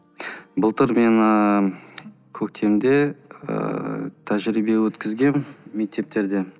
былтыр мен ыыы көктемде ііі тәжірбие өткізгенмін мектептерде